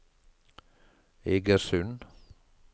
Egersund